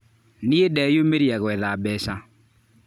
Niĩ ndeyũmĩria gwetha mbeca.